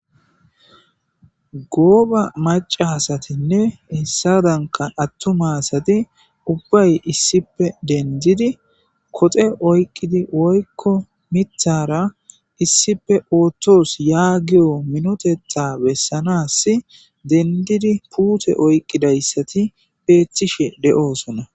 Gooba macasa asatinne hessadanka attuma asati ubbay issipe denddidi koxe oyqqidi woykko miithara issippe oothtos yaagiyo minotetha bessanas dendidi puute oyqqidayssati eeththishe de'oosona.